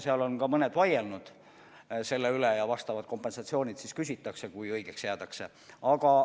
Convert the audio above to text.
Seal on ka mõned vaielnud selle üle ja kui õigeks jäädakse, siis küsitakse vastavalt kompensatsiooni.